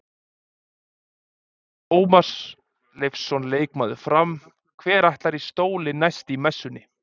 Tómas Leifsson leikmaður Fram: Hver ætlar í stólinn næst í Messunni?